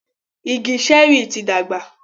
Igi Ṣẹ́rì yí tí dàgbà.